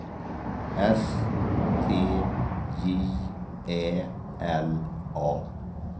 S T J Ä L A